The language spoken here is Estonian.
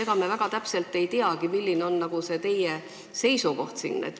Ega me väga täpselt ei teagi, milline on teie seisukoht.